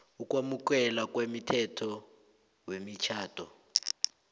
ukwamukelwa komthetho wemitjhado